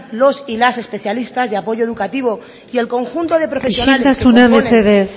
los y las especialistas de apoyo educativo y el conjunto de profesionales isiltasuna mesedez